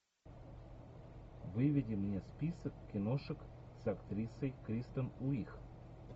выведи мне список киношек с актрисой кристен уиг